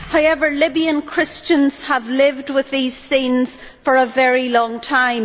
However, Libyan Christians have lived with these scenes for a very long time.